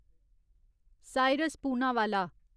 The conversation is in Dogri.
साइरस पूनावाला